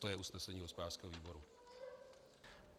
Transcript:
To je usnesení hospodářského výboru.